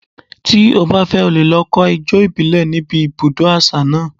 Tí o bá fẹ́, o lè lọ kọ́ ijó ìbílẹ̀ ní ibi ibùdó àṣà náà.